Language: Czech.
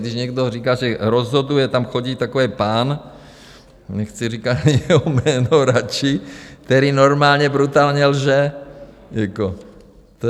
Když někdo říká, že rozhoduje, tam chodí takový pán - nechci říkat jeho jméno radši - který normálně brutálně lže.